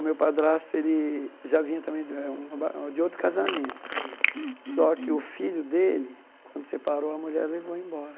O meu padrasto já vinha também de eh um aba de outro casamento, só que o filho dele, quando separou a mulher, levou embora.